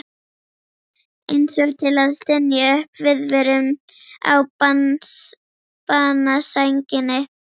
Einsog til að stynja upp viðvörun á banasænginni.